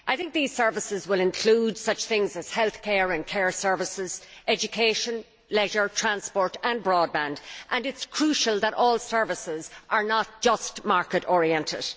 These services should include such things as healthcare and care services, education, leisure, transport and broadband. It is crucial that all services are not just market oriented.